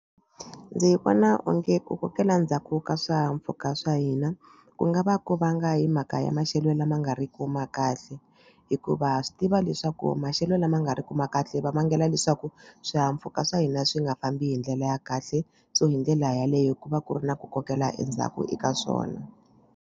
Ndzi vona onge ku kokela ndzhaku ka swihahampfhuka swa hina ku nga va ku vanga hi mhaka ya maxelo lama nga riku ma kahle hikuva swi tiva leswaku maxelo lama nga ri ku ma kahle va vangela leswaku swihahampfhuka swa hina swi nga fambi hi ndlela ya kahle so hi ndlela yaleyo ku va ku ri na ku kokela endzhaku eka swona.